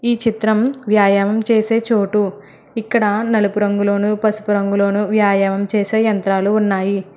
ఈ చిత్రం వ్యాయామం చేసే చోటు ఇక్కడ నలుపు రంగులోను పసుపు రంగులోను వ్యాయామం చేసే యంత్రాలు ఉన్నాయి.